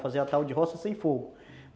Fazer a tal de roça sem fogo.